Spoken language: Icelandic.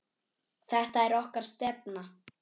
Þetta er okkar stefna.